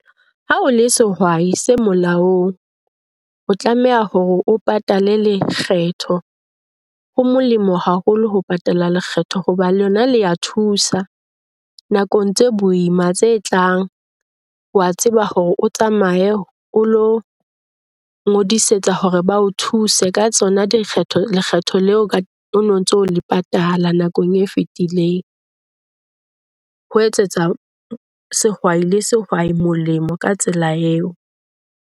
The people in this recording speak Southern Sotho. Ha o le sehwai se molaong, o tlameha hore o patale lekgetho. Ho molemo haholo ho patala lekgetho hoba le lona le a thusa nakong tse boima tse tlang. O a tseba hore o tsamaye o ilo ngodisetsa hore ba o thuse ka tsona dikgetho lekgetho leo o no ntso le patala nakong e fetileng. Ho etsetsa sehwai le sehwai molemo ka tsela eo.